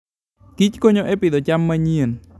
Kich konyo e pidho cham manyien.